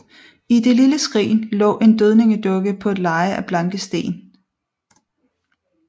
I det lille skrin lå en dødningedukke på et leje af blanke sten